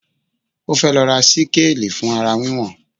Ó fẹ́ lọ ra síkáàli fún ara wíwọ̀n